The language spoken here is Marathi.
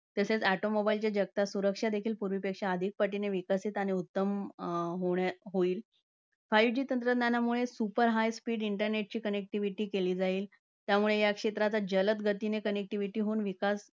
तसेच automobiles च्या जगतात सुरक्षा देखील पूर्वीपेक्षा अधिक पटीने विकसित आणि उत्तम अं होण्या~ होईल. Five G तंत्रज्ञानामुळे super high speed internet ची connectivity केली जाईल. त्यामुळे या क्षेत्राचा जलद गतीने connectivity होऊन विकास